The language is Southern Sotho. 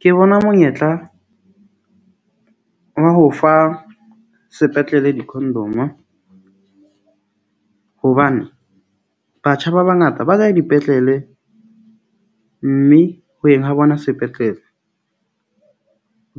Ke bona monyetla wa ho fa sepetlele di-condom-o, hobane batjha ba bangata ba kae dipetlele mme ho yeng ha bona sepetlele.